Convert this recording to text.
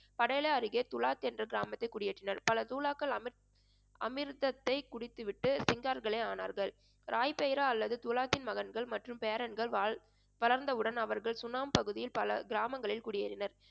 படயலா அருகே துலாத் என்ற கிராமத்தை குடியேற்றினார் பலர் தூலாக்கல் அமிர்~ அமிர்தத்தை குடித்துவிட்டு ஆனார்கள். ராய்பேரா அல்லது துலாத்தின் மகன்கள் மற்றும் பேரன்கள் வாழ்~ வளர்ந்தவுடன் அவர்கள் சுனம் பகுதியில் பல கிராமங்களில் குடியேறினர்